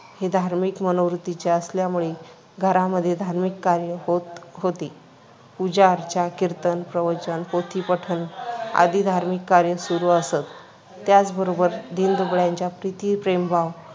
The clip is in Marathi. ही धार्मिक मनोवृत्तीचे असल्यामुळे घरामध्ये धार्मिक कार्य होत होते. पूजाअर्चा, कीर्तन, प्रवचन, पोथीपठण आदी धार्मिक कार्य सुरू असत. त्याचबरोबर दीनदुबळ्यांच्या प्रति प्रेमभाव